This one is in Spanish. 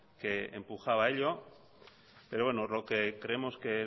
que empujaba a pero bueno lo que creemos que